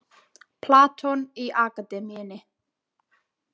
Platon í Akademíunni.